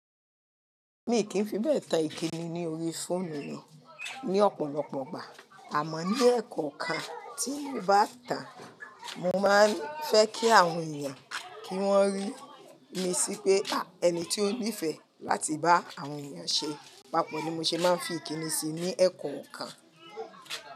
Mi kì í fi bẹ́ẹ̀ tan ìkíni ní orí fóòmù mi ní ọ̀pọ̀lọpọ̀ gbà, àmọ́ ní ẹ̀kọ̀ kan tí mo bá tà, mo máa ń fẹ́ kí àwọn èèyàn kí wọ́n rí mi sí pé; ẹni tí ó nífẹ̀ẹ́ láti bá àwọn èèyàn ṣé, papọ̀ ni mo ṣe máa ń fi ìkíni ṣe ní ẹ̀kọ̀ kan.